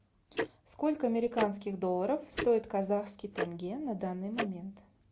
сколько американских долларов стоит казахский тенге на данный момент